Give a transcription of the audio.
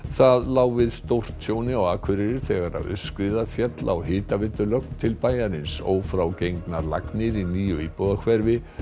það lá við stórtjóni á Akureyri þegar aurskriða féll á hitaveitulögn til bæjarins ófrágengnar lagnir í nýju íbúðahverfi